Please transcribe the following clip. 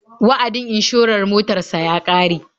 Wa'adin inshorar motar sa ya ƙare.